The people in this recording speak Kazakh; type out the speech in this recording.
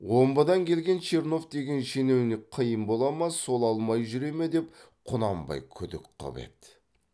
омбыдан келген чернов деген шенеунік қиын бола ма сол алмай жүре ме деп құнанбай күдік қып еді